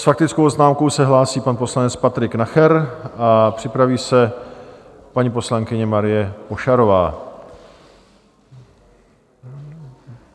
S faktickou poznámkou se hlásí pan poslanec Patrik Nacher a připraví se paní poslankyně Marie Pošarová.